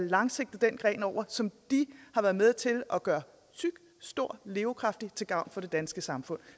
lang sigt den gren over som de har været med til at gøre tyk stor og livskraftig til gavn for det danske samfund